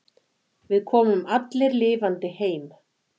Við komum allir lifandi heim.